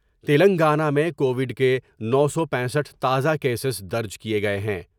تلنگانہ میں کووڈ کے نو سو پینسٹھ تازہ کیسز درج کئے گئے ہیں ۔